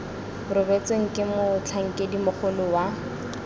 rebotsweng ke motlhankedi mogolo wa